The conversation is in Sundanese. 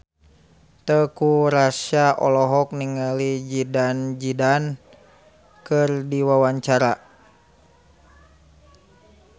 Teuku Rassya olohok ningali Zidane Zidane keur diwawancara